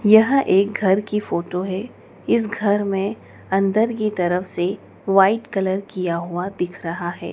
यह एक घर की फोटो है इस घर में अंदर की तरफ से व्हाइट कलर किया हुआ दिख रहा है।